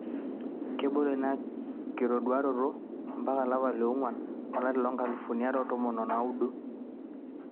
Kebolo ina kitoduaroto ompaka o lapa le ong'uan olari loo nkalifuni are o tomon o naudo